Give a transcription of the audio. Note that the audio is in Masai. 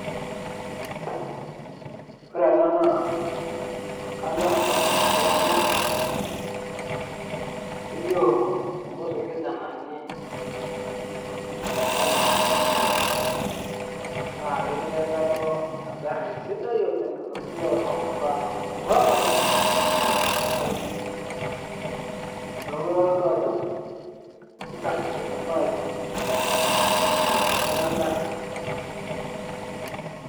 ore ena naa kanyorr taa nanu pii amu kelio nkuti kijananani ong'uan naa ketii enkalo engarri sidai oleng naji orprado orprado orok naa ing'ejuk neeku kitodolu ajo ikarsisi kuna ayiok enenye ina garri.